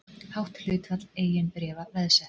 Hátt hlutfall eigin bréfa veðsett